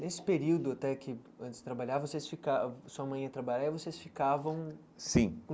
Nesse período, até que antes de trabalhar vocês ficava, sua mãe ia trabalhar e vocês ficavam... Sim.